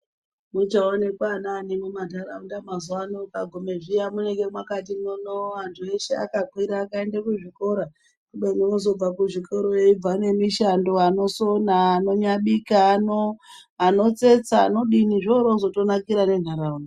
Muchaonekwa anani mundaraunda mazuvano ukagumeyo munenge makati mwii mwii andu eshe akapere kue da kuzvikora kubeni ozobva kuzvikora eyibva nemishando anosona anobika anotsetsa anodini zvoozotonakira nenharaunda.